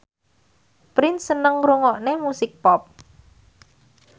Prince seneng ngrungokne musik pop